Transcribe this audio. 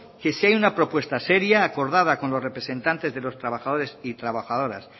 que si hay una propuesta seria acordada con los representantes de los trabajadores y trabajadoras